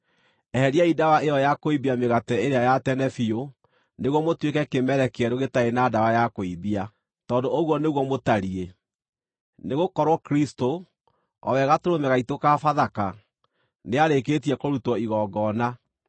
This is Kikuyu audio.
Eheriai ndawa ĩyo ya kũimbia mĩgate ĩrĩa ya tene biũ nĩguo mũtuĩke kĩmere kĩerũ gĩtarĩ na ndawa ya kũimbia, tondũ ũguo nĩguo mũtariĩ. Nĩgũkorwo Kristũ, o we gatũrũme gaitũ ka Bathaka, nĩarĩkĩtie kũrutwo igongona.